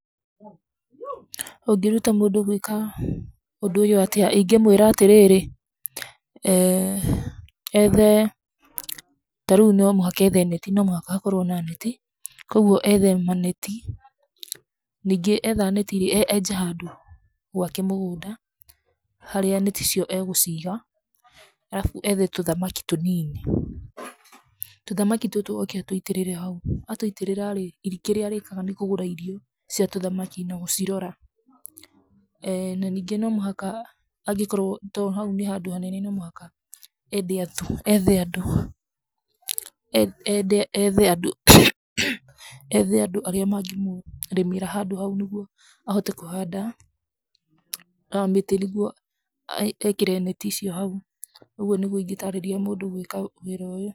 Ũngĩruta mũndũ gwĩka ũndũ ũyũ atĩa? ingĩmwĩra atĩrĩrĩ eeh ethe, tarĩu nomũhaka ethe beti, nomũhaka hakorwo na neti, koguo ethe maneti, ningĩ etha neti e enje handũ gwake mũgũnda, harĩa neti icio, egũciga, arabu ethe tũthamaki tũnini, tũthamaki tũtũ oke atũitĩrĩre hau, atũitĩrĩra rĩ i kĩrĩa arĩkaga nĩkũgũra irio cia tũthamaki na gũcirora, eeh na ningĩ nomũhaka, angĩkorwo to hau nĩ handũ hanene nomũhaka ende andũ ethe andũ, ende ethe andũ, ethe andũ arĩa mangĩmũrĩmĩra handũ hau nĩguo, ahote kũhanda, oe mĩtĩ nĩguo, ekĩre neti icio hau, ũguo nĩguo ingĩtarĩria mũndũ gwĩka wĩra ũyũ.